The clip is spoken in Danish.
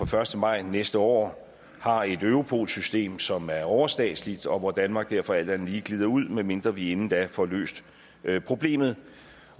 første maj næste år har et europol system som er overstatsligt og hvor danmark derfor alt andet lige glider ud medmindre vi inden da får løst problemet